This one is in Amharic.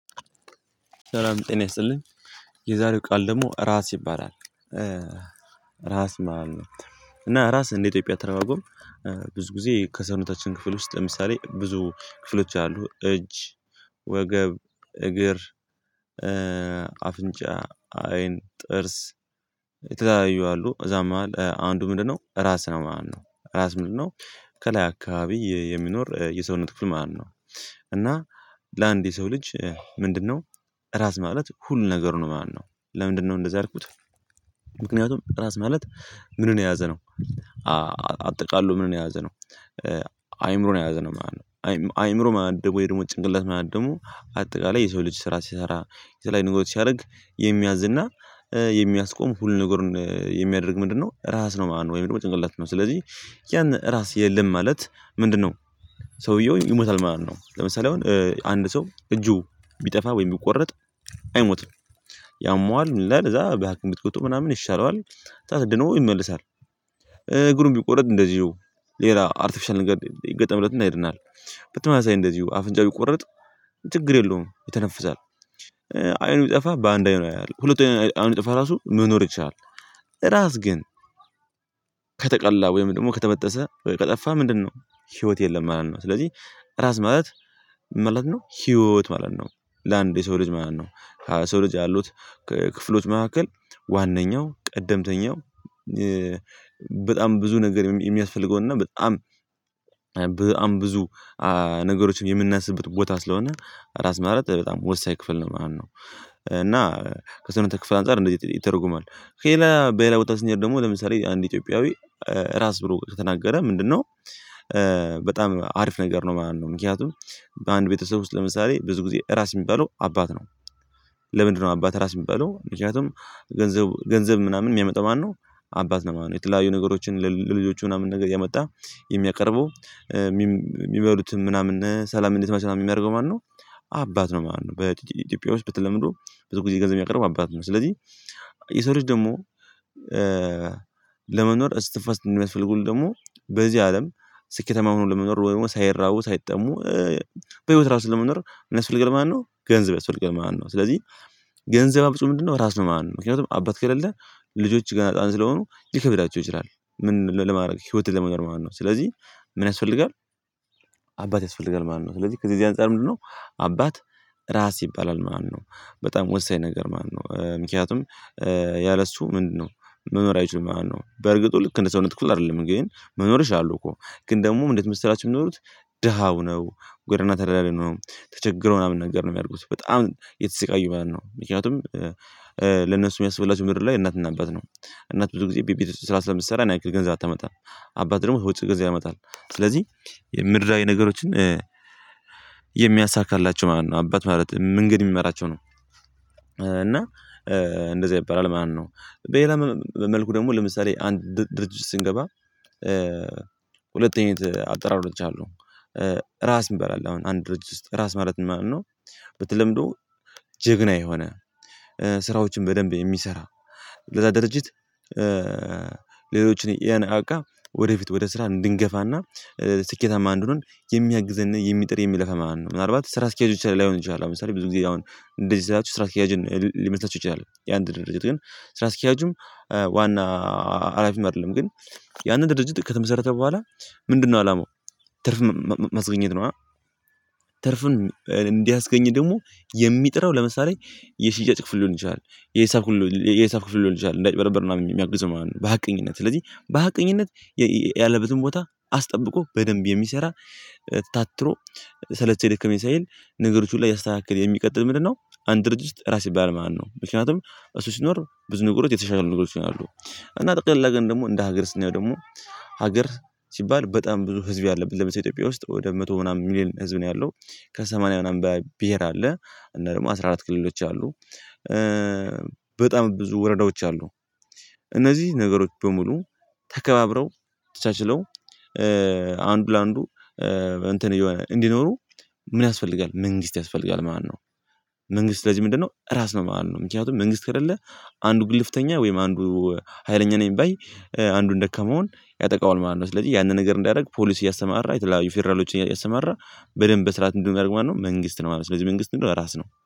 ሰላም ጤና ይስጥልኝ። የዛሬው ቃል ደግሞ ራስ ይባላል። ራስ መሃል ነው። እና ራስ እንደ ኢትዮጵያ አተረጓጎም። ብዙ ጊዜ ከሰውነታችን ክፍል ውስጥ ለምሳሌ ብዙ ክፍሎች አሉ እጅ ወገብ እግር። አይን ጥርስ የተዛየው አሉ እዛም መሃል አንዱ ምንድነው ራስ ነው? ማነው ራስ ምንድነው? ከላይ አካባቢ የሚኖር የሰውነት ክፍል ማለት ነው። እና ለአንድ የሰው ልጅ ምንድነው? ራስ ማለት ሁሉ ነገር ነው ማነው ለምንድነው እንደዚህ ያልኩት። ምክንያቱም ራስ ማለት ምንን የያዘ ነው። አጠቃላይ ምንን የያዘ ነው። አይምሮን የያዘ ነው ማለት ነው። አይምሮ ማለት ደግሞ የድሞት ጭንቅላት ማለት ደግሞ አጠቃላይ የሰው ልጅ ስራ ሲሰራ የተለያዩ ንጉስ ሲያደርግ የሚያዝ እና የሚያስቆም ሁሉ ነገር የሚያደርግ ምንድነው? ራስ ነው ወይም ደግሞ ጭንቅላት ነው። ስለዚህ ያን ራስ የለም ማለት ምንድነው? ሰውየው ይሞታል ማለት ነው። ለምሳሌ አሁን አንድ ሰው እጁ ቢጠፋ ወይም ቢቆረጥ። አይሞትም። ያመዋል ምንድነው ከዛ በሀኪም ቢታከም ምናምን ይሻለዋል ከዛ ድኖ ይመልሳል። እግሩን ቢቆረድ እንደዚሁ ሌላ አርቲፊሻል ነገር ይገጠምለትና ይሄድናል። በተመሳሳይ እንደዚሁ አፍንጫ ይቆረጥ ችግር የለውም የተነፈሰው። አይኑ ጠፋ በአንድ አይኑ ያያል ሁለቱ አይኑ ጠፋ ራሱ መኖር ይቻላል። ራስ ግን ከተቀላ ወይም ደግሞ ከተበጠሰ ወይ ከጠፋ ምንድነው? ህይወት የለም ማለት ነው። ስለዚህ ራስ ማለት ምንድነው? ህይወት ማለት ነው። ለአንድ የሰው ልጅ ማለት ነው። ሰው ልጅ ያሉት ክፍሎች መካከል ዋነኛው ቀደምተኛው በጣም ብዙ ነገር የሚያስፈልገውና በጣም በጣም ብዙ ነገሮችን የምናስብበት ቦታ ስለሆነ ራስ ማለት በጣም ወሳኝ ክፍል ነው ማለት ነው። እና ከሰውነት ክፍል አንፃር እንደዚህ ይተርጉማል ሄላ በሄላ ቦታ ሲነገር ደግሞ ለምሳሌ አንድ ኢትዮጵያዊ ራስ ብሎ ከተናገረ ምንድነው? በጣም አሪፍ ነገር ነው። ማነው ምክንያቱም በአንድ ቤተሰብ ውስጥ ለምሳሌ ብዙ ጊዜ ራስ የሚባለው አባት ነው። ለምንድነው አባት ራስ የሚባለው ምክንያቱም። ገንዘብ ገንዘብ ምናምን የሚያመጣው ማነው? አባት ነው። ማነው የተለያዩ ነገሮችን ለልጆቹ ምናምን ነገር እያመጣው የሚያቀርበው የሚበሉትም ምናምን ሰላም እንዴት ማን ነው ምናምን የሚያደርገው ማለት ነው። አባት ነው ማለት ነው። በኢትዮጵያ ውስጥ ብትለምዱ ብዙ ጊዜ ገንዘብ የሚያቀርብ አባት ነው ስለዚህ። የሰረች ደግሞ ለመኖር እስትፈስት እንደምትፈልጉን ደግሞ በዚህ አለም ስኬተማ ሆኖ ለመኖር ወይም ሳይራቡ ሳይጠሙ። በህይወት ራሱ ለመኖር እነሱ ማነው ገንዘብ አስፈልግል ማነው ስለዚህ። ገንዘብ አብፁ ምንድነው? ራስ ለማን ነው። ምክንያቱም አባት ከሌለ ልጆች ገና አጣን ስለሆኑ ይከብዳቸው ይችላል። ምን ለማድረግ ህይወትን ለመናገር ማለት ነው ስለዚህ ምን ያስፈልጋል? ያስፈልጋል ማለት ነው። ስለዚህ ከዚህ አንፃር ምንድነው? አባት ራስ ይባላል። ማነው? በጣም ወሳኝ ነገር ማነው? ምክንያቱም ያለ እሱ ምንድነው መኖሪያችሁ ማለት ነው። በርግጥ ልክ እንደ ሰውነት ትኩል አይደለም። እንግዲህ መኖር ይችላሉ እኮ ግን ደግሞ እንዴት መስራት የሚኖሩት። ደሃ ሆነው ጎደና ተዳድሪ ሆነው ተቸግሮ ምናምን ነገር ነው የሚያድጉት በጣም ብጣም እየተሰቃዩ ነው። ምክንያቱም ለነሱ የሚያስበላቸው ምድር ላይ እናትና አባት ነው። እናት ብዙ ጊዜ ቢቢት ስራ ስለምትሰራ ናይኪን ገንዘብ ታመጣ። አባት ደግሞ በውጭ ጊዜ ያመጣል። ስለዚህ የምድራዊ ነገሮችን የሚያሳካላቸው ማለት ነው አባት ማለት እንግዲህ የሚመራቸው ነው። እና እንደዚህ ይባላል ማነው በሌላ መልኩ ደግሞ ለምሳሌ አንድ ድርጅት ስንገባ ሁለት አይነት አጠራሮች አሉ። ራስ እንበላለን አሁን አንድ ድርጅት ራስ ማለት ማለት ነው። በተለምዶ ጀግና የሆነ ስራዎችን በደንብ የሚሰራ ለዛ ድርጅት። ሌሎችን ያን አቃ ወደፊት ወደ ስራ እንድንገፋና ስኬታማ እንድንሆን የሚያግዘን የሚጥር የሚለፈን ማለት ነው። ምናልባት ስራ አስኬጆች ላይ ላይሆን ይችላል። አሁን ለምሳሌ ብዙ ጊዜ አሁን እንደዚህ ስላቹ ስራ አስኪያጅን ሊመስላችሁ ይችላል። የአንድ ድርጅት ግን ስራ አስኪያጁ ዋና አላፊም አይደለም ግን ያንን ድርጅት ከተመሰረተ በኋላ ምንድነው አላማው ትርፍ ማስገኘት ነው። ትርፍን እንዲያስገኝ ደግሞ የሚጥረው ለምሳሌ የሽያጭ ክፍል ሊሆን ይችላል። የሂሳብ ክፍል የሂሳብ ክፍል ሊሆን ይችላል እንዳይጭበረበር ምናምን ማለት ነው። በሀቀኝነት ስለዚህ በሀቀኝነት ያለበትን ቦታ አስጠብቆ በደንብ የሚሰራ። ታትሮ ሰለቼኝ ደከመኝ የሳይል ነገሮች ሁሉ እያስተካከልክ የሚቀጥል ምንድነው? አንድ ድርጅት ራስ ይባል ማነው ምክንያቱም እሱ ሲኖር ብዙ ንጉሮች የተሻሉ ንጉሮች ይሆናሉ። እና ጠቅለል አድርገን ደግሞ እንደ ሀገር ስንየው ደግሞ። ሀገር ሲባል በጣም ብዙ ህዝብ ያለብን ለምን ኢትዮጵያ ውስጥ ወደ መቶ ምናምን ሚሊየን ህዝብ ነው ያለው። ከሰማንያ ምናምን ብሄር አለ። እና ደግሞ አስራ አራት ክልሎች አሉ። በጣም ብዙ ወረዳዎች አሉ። እነዚህ ነገሮች በሙሉ ተከባብረው ተቻችለው አንዱ ለአንዱ እንትን እየሆነ እንዲኖሩ። ምን ያስፈልጋል መንግስት ያስፈልጋል ማነው? መንግስት ለዚህ ምንድነው ራስ ነው። ማነው ምክንያቱም መንግስት ከሌለ አንዱ ግልፍተኛ ወይም አንዱ ሀይለኛ ነኝ ባይ አንዱን ደካመውን ያጠቃውል ማለት ነው። ስለዚህ ያንን ነገር እንዳደርግ ፖሊስ እያሰራ የተለያዩ ፌደራሎችን እያሰማራ በደንብ በስርዓት እንድንገርማነው መንግስት ነው። ማለት ነው ስለዚህ መንግስት እንደው ራስ ነው